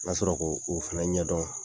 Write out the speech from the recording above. N ka sɔrɔ ko o fana ɲɛdɔn